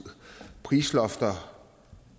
prislofter